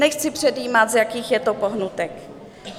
Nechci předjímat, z jakých je to pohnutek.